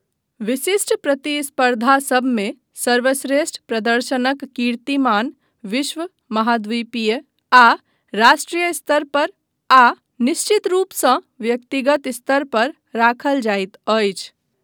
विशिष्ट प्रतिस्पर्द्धा सभमे सर्वश्रेष्ठ प्रदर्शनक कीर्तिमान विश्व, महाद्वीपीय आ राष्ट्रीय स्तर पर आ निश्चित रूपसँ व्यक्तिगत स्तर पर राखल जाइत अछि।